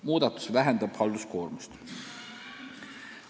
Muudatus vähendab halduskoormust.